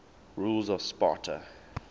rulers of sparta